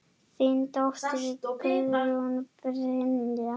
Þín dóttir, Guðrún Brynja.